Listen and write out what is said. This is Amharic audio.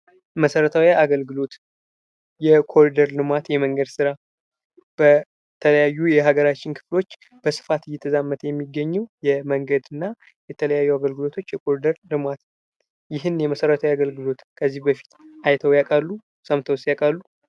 መሠረታዊ አገልግሎ የኮኒደር ልማት የመንገድ ስራ በተለያዩ የሀገራችን ክፍሎች በስፋት እየተዛመተ የሚገኘው የመንገድ እና የተለያዩ አገልግሎቶች የኮኒደር ልማት ይህን መሠረታዊ አገልግሎት ከዚህ በፊት አይተው ያውቃሉ? ሰምተውስ ያውቃሉ?